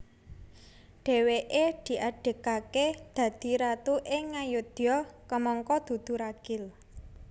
Dhèwèké diadegaké dadi ratu ing Ngayodya kamangka dudu ragil